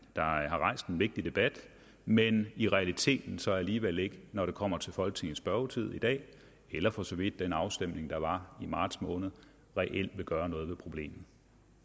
har rejst en vigtig debat men i realiteten så alligevel ikke når det kommer til folketingets spørgetid i dag eller for så vidt den afstemning der var i marts måned vil gøre noget ved problemet